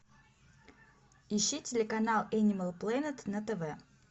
ищи телеканал энимал планет на тв